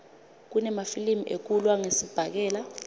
kunemafilimi ekulwa ngesibhakela